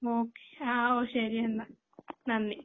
ആ ഓ ശെരി എന്നാ നന്ദി.